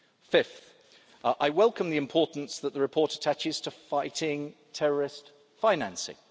Fifth, I welcome the importance that the report attaches to fighting terrorist financing.